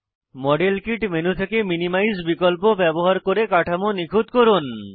model kit menu থেকে minimise বিকল্প ব্যবহার করে কাঠামো নিখুত করুন